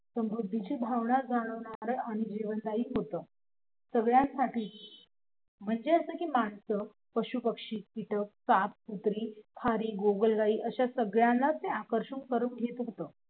समृद्धीचं भावना जागवणार आणि जीवनदायी होत सगळ्यांसाठीच म्हणजे असं कि मानस पशु पक्षी कीटक साप कुत्री आणि खारी गोगलगाई अशा सगळ्यांनाच ते आकर्षून घेत असत